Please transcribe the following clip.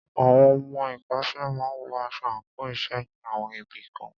Àwọn ọmọ ìkọ́ṣẹ́ máà wọ aṣọ àńkò iṣẹ́ ní àwọn ibì kan.